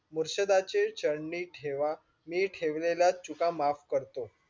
मुर्ष्दाचे चालणे ठेवा मी ठेवलेला चुका माफ करतो.